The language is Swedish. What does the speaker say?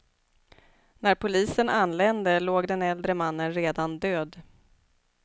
När polisen anlände låg den äldre mannen redan död.